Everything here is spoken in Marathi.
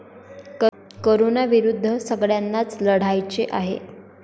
कोरोनाविरुद्ध सगळय़ांनाच लढायचे आहे.